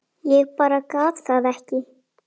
Ég bara gat það ekki.